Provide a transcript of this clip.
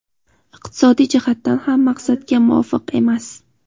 iqtisodiy jihatdan ham maqsadga muvofiq emas.